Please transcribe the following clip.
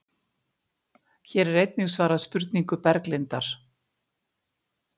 Hér er einnig svarað spurningu Berglindar: